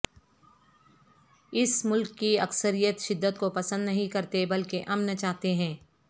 اس ملک کی اکثریت شدت کو پسند نہیں کرتے بلکہ امن چاہتے ہیں